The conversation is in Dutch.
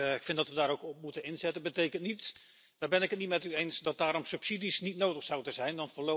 Ik vind dat we daar ook op moeten inzetten. Dat betekent niet daar ben ik het niet met u eens dat daarom subsidies niet nodig zouden zijn.